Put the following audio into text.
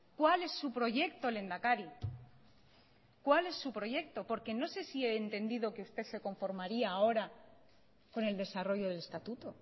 cuál es su proyecto lehendakari cuál es su proyecto porque no sé si he entendido que usted se conformaría ahora con el desarrollo del estatuto